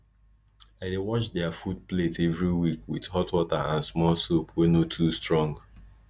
i dey wash their food plate every week with hot water and small soap wey no too strong